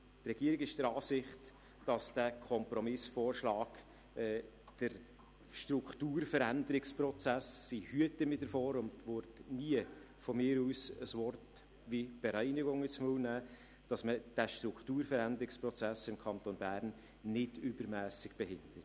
Die Regierung ist der Ansicht, dass dieser Kompromissvorschlag den Strukturveränderungsprozess – ich hüte mich davor und würde niemals von mir aus ein Wort wie «Bereinigung» in den Mund nehmen – im Kanton Bern nicht übermässig behindert.